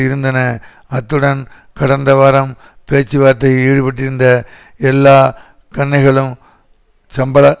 இருந்தன அத்துடன் கடந்த வாரம் பேச்சுவார்த்தையில் ஈடுபட்டிருந்த எல்லா கன்னைகளும் சம்பள